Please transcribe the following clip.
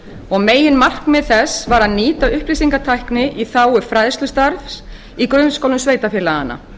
og meginmarkmið þess var að nýta upplýsingatækni í þágu fræðslustarfs í grunnskólum sveitarfélaganna